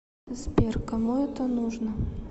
сбер кому это нужно